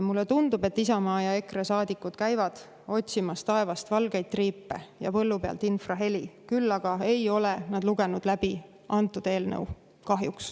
Mulle tundub, et Isamaa ja EKRE saadikud käivad taevast otsimas valgeid triipe ja põllu pealt infraheli, küll aga ei ole nad kahjuks lugenud läbi antud eelnõu.